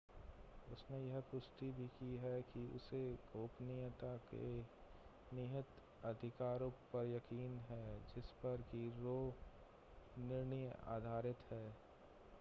उसने यह पुष्टि भी की है कि उसे गोपनीयता के निहित अधिकारों पर यकीन है जिस पर कि रो निर्णय आधारित है